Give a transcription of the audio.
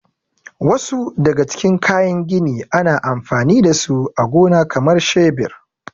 Wasu daga cikin kayan gini ana anfani da su a gona kamar shebir.